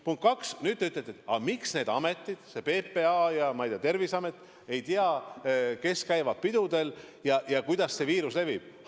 Punkt kaks, nüüd te ütlete, et aga miks need ametid, see PPA ja Terviseamet, ei tea, kes käivad pidudel ja kuidas see viirus levib.